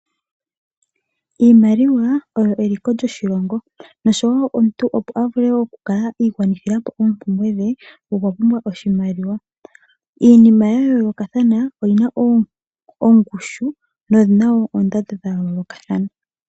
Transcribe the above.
Iimaliwa eliko lyoshilongo nosho woo omuntu opo avule oku kala iigwanithilapo oompumbwe dhe okwa pumbwa oshimaliwa. Iinima ya yoolokathana oyina ongushu noyina woo oondando dha yoolokathana.